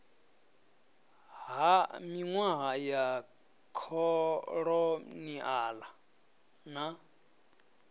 ha minwaha ya kholoniala na